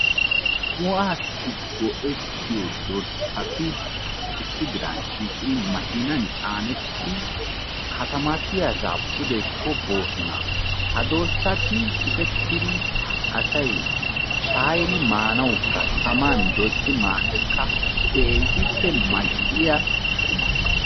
Shuhaassi go"ettiyo dorssati issi diran shiiqidi makkiinan caanettidi katamatiyaasa pudeko boosona. Ha dorssati shukettidi asay shaayiri maanawukka taman doyisi maanawukka keehippe mal"iya quma.